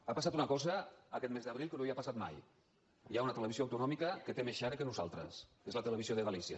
ha passat una cosa aquest mes d’abril que no havia passat mai hi ha una televisió autonòmica que té més share que nosaltres que és la televisió de galícia